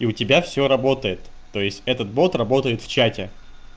и у тебя всё работает то есть этот бот работает в чате